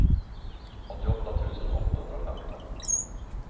åttioåtta tusen åttahundrafemton